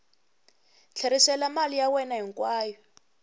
tlherisela mali ya wena hinkwayo